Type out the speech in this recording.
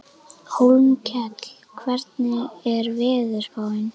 Hólmkell, hvernig er veðurspáin?